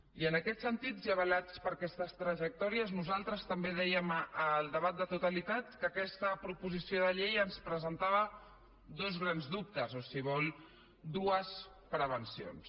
i en aquests sentits i avalats per aquestes trajectòries nosaltres també dèiem en el debat de totalitat que aquesta proposició de llei ens presentava dos grans dubtes o si vol dues prevencions